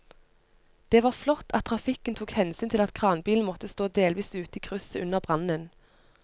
Det var flott at trafikken tok hensyn til at kranbilen måtte stå delvis ute i krysset under brannen.